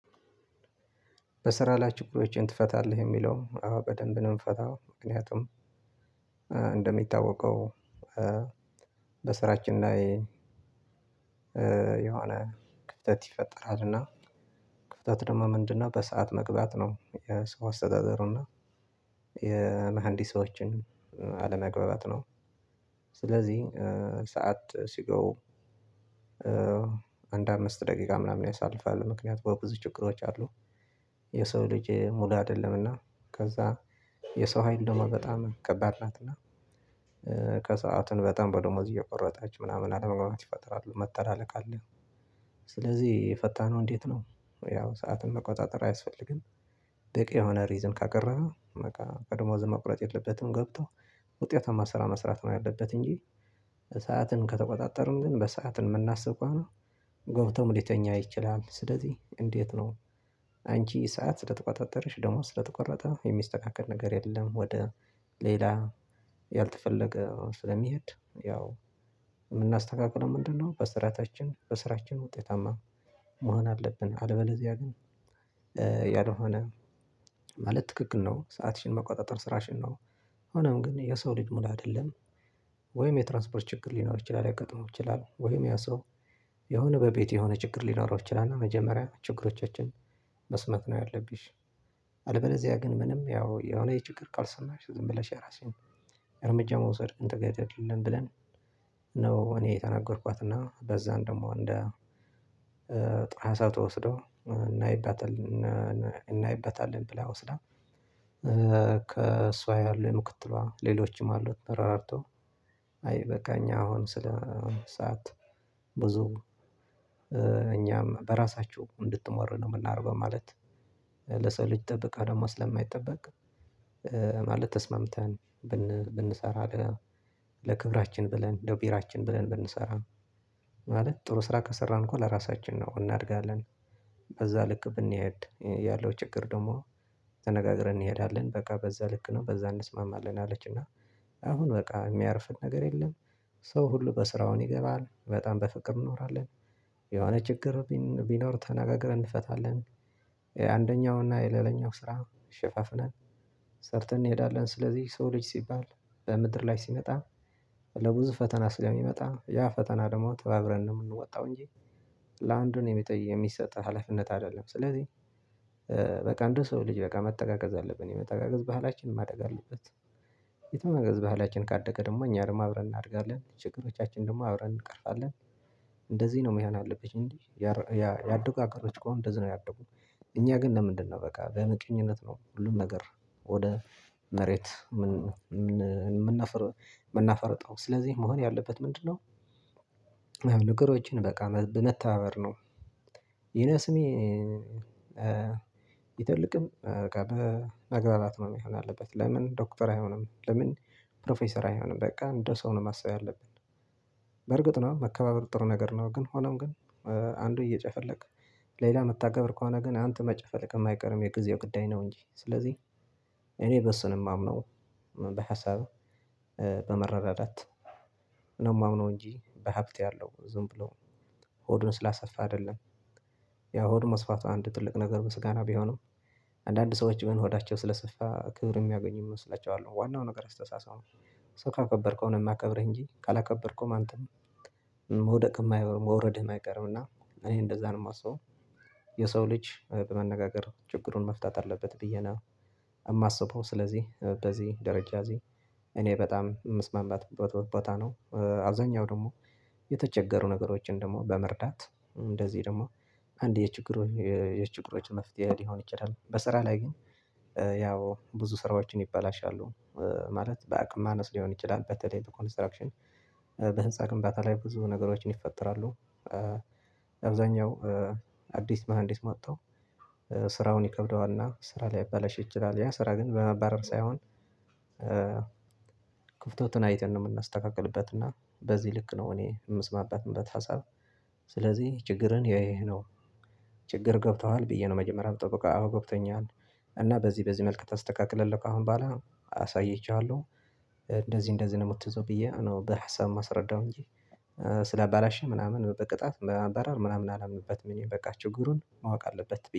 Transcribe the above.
በስራ ላይ ችግሮችህን ትፈታለህ? የሚለውን አዎ በደንብ ነው የምፈታው። ምክንያቱም እንደሚታወቀው በስራችን ላይ የሆነ ክፍተት ይፈጠራል እና ክፍተት ደግሞ ምንድነው በሰአት መግባት ነው። የሰው አስተዳደሩ እና የመሃንዲሶችን አለመግባባት ነው። ስለዚህ ሰዓት ሲገቡ አንድ አምስት ደቂቃ ምናምን ያሳልፋሉ። ምክንያቱም ብዙ ችግሮች አሉ። የሰው ልጅ ሙሉ አይደለም። እና ከዛ የሰው አይን ደግሞ በጣም ከባድናት እና ከሰአቱን በጣም በደሞዝ እየቆረጣቹ ምናምን አለመግባባት ይፈጠራሉ። መተላለቅ አለ። ስለዚህ ፈተናው እንዴት ነው ያው ሰዓትን መቆጣጠር አያስፈልግም። በቂ የሆነ 'ሪዝን' ካቀረበ በቃ ከደሞዙም መቁረጥ የለበትም ገብቶ። ውጤታማ ስራ መስራት ነው ያለበት እንጂ። ሰዓትን ከተቆጣጠሩም ግን በሰአት የምናስብ ከሆነ ገብተውም ሊተኛ ይችላል። ስለዚህ እንዴት ነው አንቺ ሰዓት ስለተቆጣጠረሽ ደግሞ ስለተቆረጠ የሚስተካከል ነገር የለም ወደ ሌላ ያልተፈለገ ስለሚሄድ ያው የምናስተካክለው ምንድነው በስራዓታችን በስራችን ውጤታማ መሆን አለብን። አለበለዚያ ግን ያልሆነ ማለት ትክክል ነው። ሰአትሽን መቆጣጠር ስራሽን ነው። ሆኖም ግን የሰው ልጅ ሙሉ አይደለንም። ወይም የትራንስፖርት ችግር ሊኖር ይችላል። ሊያጋጥመው ይችላል። ወይም ያ ሰው የሆነ በቤቱ የሆነ ችግር ሊኖረው ይችላል። እና መጀመሪያ ችግሮቻችንን መስማት ነው ያለብሽ። አለበለዚያ ግን ምንም ያው የሆነ የችግር ቃል ሰማሽ ዝም ብለሽ የራስሽን እርምጃ መውሰድ ግን ተገቢ አይደለም ብለን ነው እኔ የተናገርኳት እና በዛን ደግሞ እንደ ጥሩ ሀሳብ ተወስደው እናይባታለን። እናይበታለን ብላ ወስዳ ከእሷ ያሉ የምክትሏ ሌሎችም አሉት ተረረዳድተው አይበቃኝ አሁን ስለ ሰዓት ብዙ እኛም በራሳችሁ እንድትሞሩ ነው የምናደርገው። ማለት ለሰው ልጅ ጥበቃ ደግሞ ስለማይጠበቅ ማለት ተስማምተን ብንሰራ ለክብራችን ብለን ለብሄራችን ብለን ብንሰራ ማለት ጥሩ ስራ ከሰራን እኮ ለራሳችን ነው እናድጋለን። በዛ ልክ ብንሄድ ያለው ችግር ደግሞ ተነጋግረን እንሄዳለን በቃ በዛ ልክ ነው በዛ እንስማማለን አለች እና አሁን በቃ የሚያርፍ ነገር የለም። ሰው ሁሉ በስራውን ይገባል። በጣም በፍቅር እንኖራለን። የሆነ ችግር ቢኖር ተነጋግረን እንፈታለን። አንደኛው እና የሌላኛው ስራ ሸፋፍነን ሰርተን እንሄዳለን። ስለዚህ የሰው ልጅ ሲባል በምድር ላይ ሲመጣ ለብዙ ፈተና ስለሚመጣ ያ ፈተና ደግሞ ተባብረን ነው የምንወጣው። እንጂ ለአንዱ ነው የሚጠይቅ የሚሰጥ ሀላፊነት አይደለም። ስለዚህ በቃ እንደ ሰው ልጅ በቃ መተጋገዝ አለብን። የመተጋገዝ ባህላችን ማደግ አለበት። የመተጋገዝ ባህላችን ካደገ ደግሞ እኛንም አብረን እናድጋለን ችግሮቻችንን ደግሞ አብረን እንቀርፍለን። እንደዚህ ነው መሆን ያለብሽ እንጂ ያደጉ አገሮች እኮ እንደዚህ ነው ያደጉት። እኛ ግን ለምንድነው በቃ በምቀኝነት ነው ሁሉን ነገር ወደ መሬት የምናፍር የምናፈርጠው። ስለዚህ መሆን ያለበት ምንድነው ነገሮችን በቃ በመተባበር ነው ይነስም ይተልቅም በቃ በመግባባት ነው መሆን ያለበት። ለምን ዶክተር አይሆንም ለምን ፕሮፌሰር አይሆንም በቃ እንደ ሰው ነው ማሰብ ያለብን። በርግጥ ነው መከባበር ጥሩ ነገር ነው። ግን ሆኖም ግን አንዱ እየጨፈለቀ ሌላ እምታከብር ከሆነ ግን አንተ መጨፈልቅ አይቀርም የጊዜው ጉዳይ ነው እንጂ። ስለዚህ እኔ በሱ ነው የማምነው በሀሳብ በመረዳዳት። ነው የማምነው እንጂ። በሀብት ያለው ዝም ብለው ሆዱን ስላሰፋ አይደለም። ያው ሆዱን ማስፋቱ አንድ ትልቅ ነገር ምስጋና ቢሆንም አንድአንድ ሰዎች የሆነ ሆዳቸው ስለሰፋ ክብር የሚያገኙ የሚመስላቸው አሉ። ዋናው ነገር አስተሳሰብ ነው። ሰው ካከበርከው ነው የሚያከብርህ እንጂ ካላከበርከውም አንተም የማይቀር መውረድህም አይቀርም እና እኔ እንደዛ ነው የማስበው። የሰው ልጅ በመነጋገር ችግሩን መፍታት አለበት ብዬ ነው። የማስበው። ስለዚህ በዚህ ደረጃ እዚህ እኔ በጣም የምስማማበት ቦታ ቦታ ነው። አብዛኛው ደግሞ የተቸገሩ ነገሮችን ደግሞ በመርዳት እንደዚህ ደግሞ አንድ የችግሩ የችግሮች መፍትሄ ሊሆን ይችላል። በስራ ላይ ግን ያው ብዙ ስራዎችን ይበላሻሉ። ማለት በአቅም ማነስ ሊሆን ይችላል። በተለይ በኮንስትራክሽን በህንፃ ግንባታ ላይ ብዙ ነገሮችን ይፈጠራሉ። አብዛኛው አዲስ መሃንዲስ መቶ ስራውን ይከብደዋል እና ስራ ሊያበላሽ ይችላል። ያ ስራ ግን በማባረር ሳይሆን ክፍተትን አይተን ነው የምናስተካክልበት እና በዚህ ልክ ነው እኔ የምስማማበት ሀሳብ ስለዚህ ችግርን እያየህ ነው። ችግር ገብተዋል ብዬ ነው መጀመሪያ የምጠብቀው። አዎ ገብቶኛል። እና በዚህ በዚህ መልኩ ታስተካክላለህ ከአሁን በሀላ አሳይቼሐለው። እንደዚህ እንደዚህ ነው የምትዘው ብዬ ነው በሀሳብ ማስረዳው እንጂ ስላበላሸ ምናምን በቅጣት በማባረር ምናምን አላምንበትም። በቃ ችግሩን ማወቅ አለበት።